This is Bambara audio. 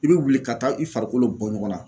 I be wuli ka taa i farikolo bɔ ɲɔgɔn na